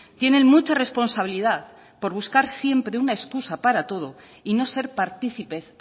tienen mucha responsabilidad por buscar siempre una escusa para todo y no ser participes